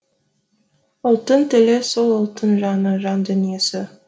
ұлттың тілі сол ұлттың жаны жан дүниесі